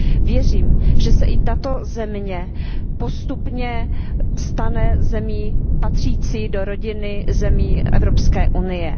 Věřím, že se i tato země postupně stane zemí patřící do rodiny zemí Evropské unie.